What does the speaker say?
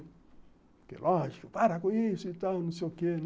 Porque, lógico, para com isso e tal, não sei o quê, né?